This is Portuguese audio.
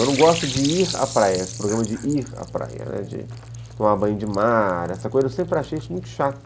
Eu não gosto de ir à praia, esse programa de ir à praia, de tomar banho de mar, essa coisa, eu sempre achei isso muito chato.